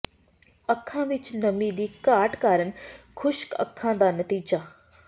ਅੱਖਾਂ ਵਿਚ ਨਮੀ ਦੀ ਘਾਟ ਕਾਰਨ ਖੁਸ਼ਕ ਅੱਖਾਂ ਦਾ ਨਤੀਜਾ